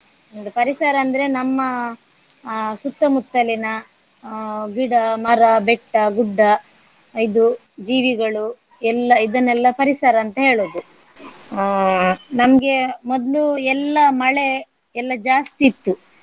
ಒಂದು ಪರಿಸರ ಅಂದ್ರೆ ನಮ್ಮ ಆ ಸುತ್ತಮುತ್ತಲಿನ ಆ ಗಿಡ, ಮರ, ಬೆಟ್ಟ, ಗುಡ್ಡ ಇದು ಜೀವಿಗಳು ಎಲ್ಲಾ ಇದನ್ನೆಲ್ಲ ಪರಿಸರ ಅಂತ ಹೇಳುದು. ಆ ನಮ್ಗೆ ಮೊದ್ಲು ಎಲ್ಲಾ ಮಳೆ ಎಲ್ಲ ಜಾಸ್ತಿ ಇತ್ತು.